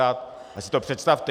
Tak si to představte.